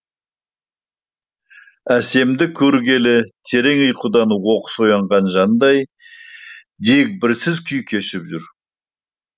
әсемді көргелі терең ұйқыдан оқыс оянған жандай дегбірсіз күй кешіп жүр